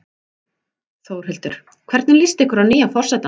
Þórhildur: Hvernig líst ykkur að nýja forsetann okkar?